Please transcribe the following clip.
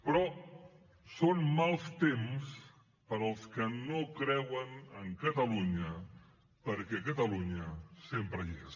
però són mals temps per als que no creuen en catalunya perquè catalunya sempre hi és